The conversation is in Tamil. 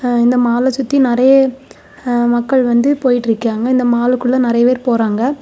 ஆ இந்த மால்ல சுத்தி நெறைய ஆ மக்கள் வந்து போயிட்ருக்காய்ங்க இந்த மாலுக்குள்ள நெறைய பேர் போறாங்க.